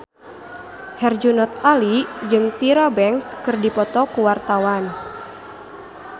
Herjunot Ali jeung Tyra Banks keur dipoto ku wartawan